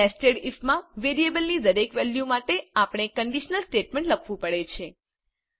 nested ઇફમાં વેરિયેબલની દરેક વેલ્યુ માટે આપણે કન્ડીશનલ સ્ટેટમેન્ટ લખવું પડે છે